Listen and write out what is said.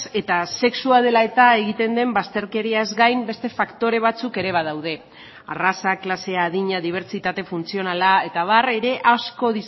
eta sexua dela eta egiten den bazterkeriaz gain beste faktore batzuk ere badaude arraza klasea adina dibertsitate funtzionala eta abar ere asko